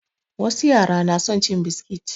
Wasu yara na son cin biskit